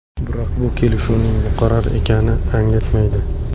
Biroq bu kelishuvning muqarrar ekanini anglatmaydi.